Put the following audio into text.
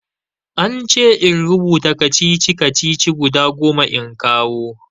An ce in rubuta kacici-kacici guda goma in kawo.